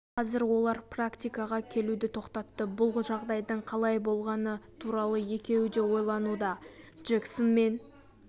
ал қазір олар практикаға келуді тоқтатты бұл жағдайдың қалай болғаны туралы екеуі де ойлануда джексон мен